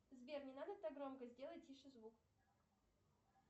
сбер не надо так громко сделай тише звук